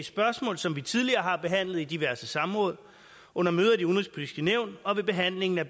i spørgsmål som vi tidligere har behandlet i diverse samråd under møder i udenrigspolitisk nævn og ved behandlingen af